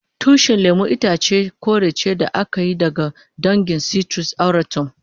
Tushin lemun itace kore ce da aka yi daga dangin citrus aurantum.